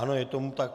Ano, je tomu tak.